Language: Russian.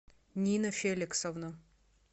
нина феликсовна